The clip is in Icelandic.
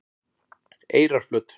Eyrarflöt